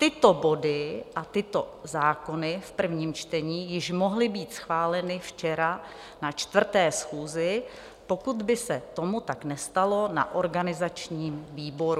Tyto body a tyto zákony v prvním čtení již mohly být schváleny včera na čtvrté schůzi, pokud by se tomu tak nestalo na organizačním výboru.